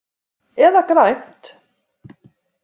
Eða grænt.